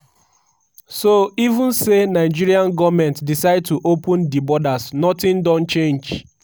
"so even say nigerian goment decide to open di borders nothing don change."